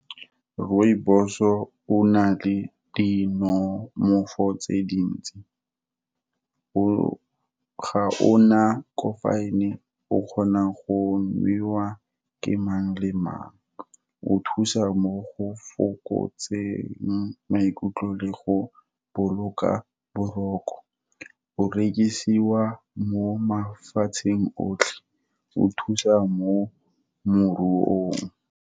Rooibos-o, o na le dinonofo tse dintsi, ga o na caffeine-e, o kgonwa go nwewa ke mang le mang, o thusa mo go fokotseng maikutlo le go boloka boroko, o rekisiwa mo mafatsheng otlhe, o thusa mo moruong.